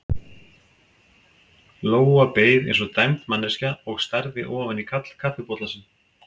Lóa beið eins og dæmd manneskja og starði ofan í kaffibollann sinn.